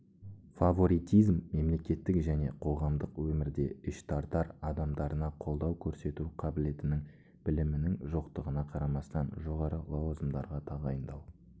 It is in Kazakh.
фаворитизм мемлекеттік және қоғамдық өмірде іштартар адамдарына қолдау көрсету қабілетінің білімінің жоқтығына қарамастан жоғары лауазымдарға тағайындау